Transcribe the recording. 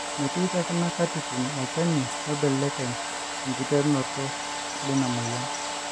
metii tekuna katitin olchani oibelekeny ekiterunoto leina moyian